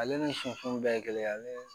Ale ni sifinw bɛɛ kelen ale